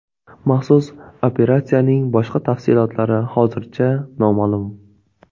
Maxsus operatsiyaning boshqa tafsilotlari hozircha noma’lum.